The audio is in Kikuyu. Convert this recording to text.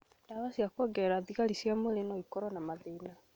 Ndawa cia koungerera thigari cia mwĩrĩ noikorwo na mathĩna